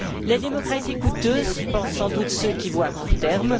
La démocratie est coûteuse, pensent sans doute ceux qui voient à court